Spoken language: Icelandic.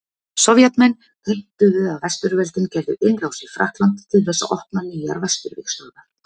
Sovétmenn heimtuðu að Vesturveldin gerðu innrás í Frakkland til þess að opna nýjar Vesturvígstöðvar.